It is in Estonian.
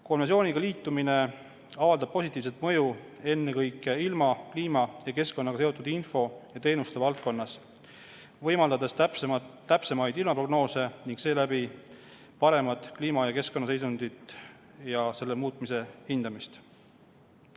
Konventsiooniga liitumine avaldab positiivset mõju ennekõike ilma, kliima ja keskkonnaga seotud info ja teenuste valdkonnas, võimaldades täpsemaid ilmaprognoose ning seeläbi paremat kliima- ja keskkonnaseisundit ja selle muutmise hindamist.